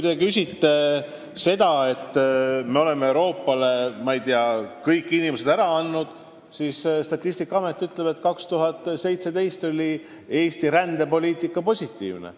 Teie väidate, et me oleme Euroopale nii palju inimesi ära andnud, aga Statistikaamet ütleb, et aastal 2017 oli Eesti rändesaldo positiivne.